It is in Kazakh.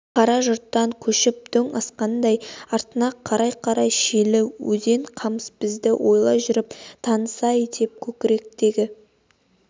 қара жұрттан көшіп дөң асқанда артына қарай-қарай шилі өзен қамыс-ай бізді ойлай жүр таныс-ай деп көкіректегі